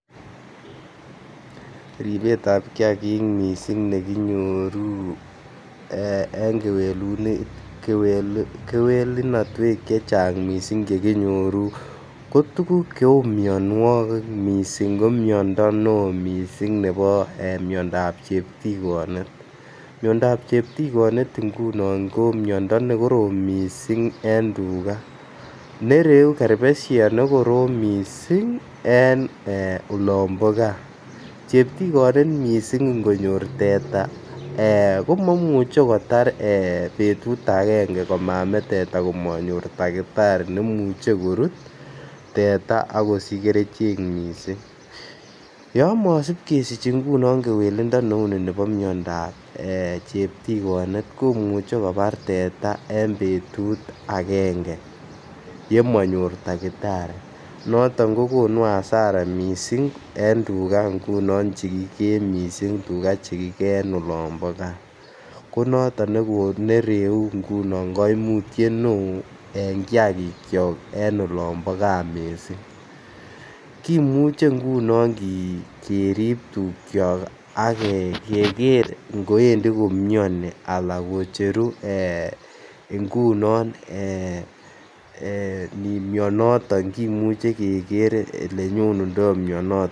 Ribetab kiagik missing nekinyoru en kewelunotwek chechang missing che kinyoru ko tuguk che uu mionwokik missing ko miondo ne missing nebo miondap cheptigonet, miondap cheptigonet ngunon ko miondo ne korom missing en tuga nereu kerbeshet ne korom missing en ee olombo gaa cheptigonet missing ngo nyor teta ko momuche kotar ee betut angenge koma mee teta kot komonyor takitari nemuche korut teta akosich kerichek missing. Yon mosip kesich ngunon kewelindo ne uni nebo miondap ee cheptigonet komuche kobar teta en betut angenge yemo nyor takitari noton kogonu hasara missing en tuga ngunon che kigee missing tuga che kigee en olombo gaa konoton ne reu koimutiet ne oo en kiagikyok en olombo gaa missing. Kimuche ngunon ki kerib tukyok ak keger ngoendi komioni ala kocheru ee ngunon ee mionoton kimuche keger ole nyonu